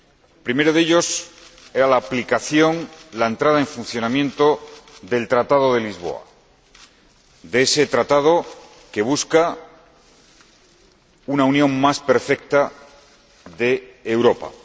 El primero de ellos era la aplicación, la entrada en funcionamiento del Tratado de Lisboa, de ese Tratado que busca una unión más perfecta de Europa.